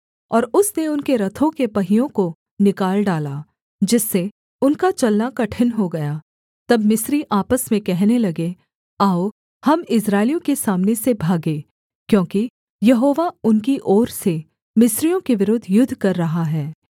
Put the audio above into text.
और उसने उनके रथों के पहियों को निकाल डाला जिससे उनका चलना कठिन हो गया तब मिस्री आपस में कहने लगे आओ हम इस्राएलियों के सामने से भागें क्योंकि यहोवा उनकी ओर से मिस्रियों के विरुद्ध युद्ध कर रहा है